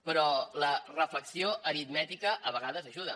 però la reflexió aritmètica a vegades ajuda